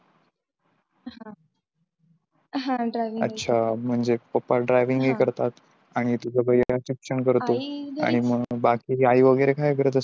अच्छा म्हणजे पप्पा driving ही करतात आणि तुझा भाऊ शिक्षण करतात आणि मग बाकी आई वगैरे काय करत असते?